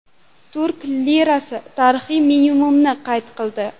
Turk lirasi tarixiy minimumni qayd qildi.